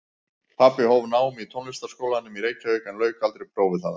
Pabbi hóf nám í Tónlistarskólanum í Reykjavík en lauk aldrei prófi þaðan.